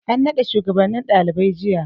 An nada shugabannin daliban jiya.